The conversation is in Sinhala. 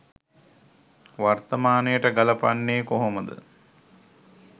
වර්තමානයට ගලපන්නේ කොහොමද?